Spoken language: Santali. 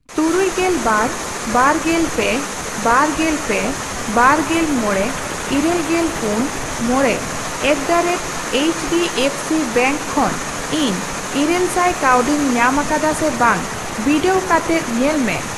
ᱛᱩᱨᱩᱭᱜᱮᱞ ᱵᱟᱨ, ᱵᱟᱨᱜᱮᱞ ᱯᱮ, ᱵᱟᱨᱜᱮᱞ ᱯᱮ, ᱵᱟᱨᱜᱮᱞ ᱢᱚᱲᱮ, ᱤᱨᱟᱹᱞᱜᱮᱞ ᱯᱩᱱ, ᱢᱚᱲᱮ at the rate H D F C bank ᱠᱷᱚᱱ ᱤᱧ ᱤᱨᱟᱹᱞᱥᱟᱭ ᱠᱟᱹᱣᱰᱤᱧ ᱧᱟᱢ ᱟᱠᱟᱫᱟ ᱥᱮ ᱵᱟᱝ ᱵᱤᱰᱟᱹᱣ ᱠᱟᱛᱮᱫ ᱧᱮᱞ ᱢᱮ ᱾